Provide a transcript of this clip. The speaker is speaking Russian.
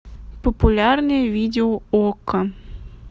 популярные видео окко